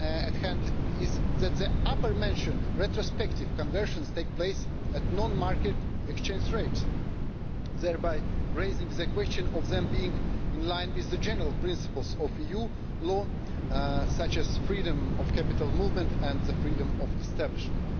matters at hand is that the above-mentioned retrospective conversions take place at non-market exchange rates, thereby raising the question of them being in line with the general principles of EU law, such as freedom of capital movement and freedom of establishment.